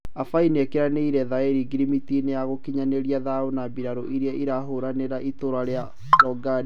Abai nĩekĩranĩire thaĩri ngirimiti-inĩ ya gũkinyanĩria thayũ na mbirarũ iria irahũranĩra itũũra rĩa LaOgaden.